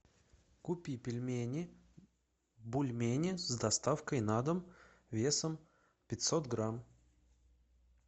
купи пельмени бульмени с доставкой на дом весом пятьсот грамм